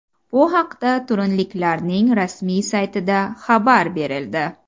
Bu haqda turinliklarning rasmiy saytida xabar berildi .